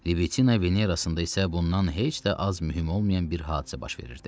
Libitina Venerasında isə bundan heç də az mühüm olmayan bir hadisə baş verirdi.